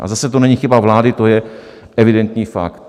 A zase to není chyba vlády, to je evidentní fakt.